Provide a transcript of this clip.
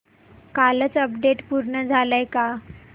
कालचं अपडेट पूर्ण झालंय का